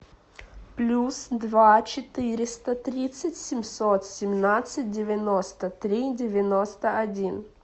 плюс два четыреста тридцать семьсот семнадцать девяносто три девяносто один